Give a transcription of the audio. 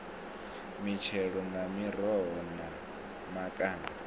mitshelo na miroho na makanda